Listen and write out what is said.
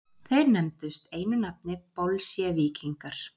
Þeir nefndust einu nafni bolsévíkingar.